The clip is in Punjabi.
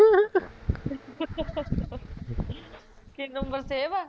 ਕੀ ਨੰਬਰ save ਆ